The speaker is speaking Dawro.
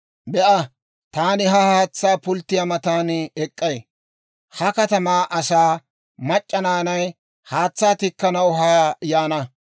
Be'a! Taani ha haatsaa pulttiyaa matan ek'k'ay; ha katamaa asaa mac'c'a naanay haatsaa tikkanaw haa yaana.